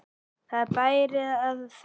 Það bæri að þakka.